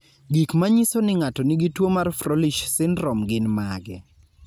Gik manyiso ni ng'ato nigi tuwo mar Froelich syndrome gin mage?